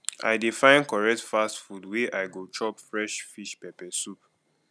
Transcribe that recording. i dey find correct fast food where i go chop fresh fish pepper soup